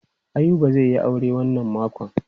Ayuba zai yi aure wannan makon.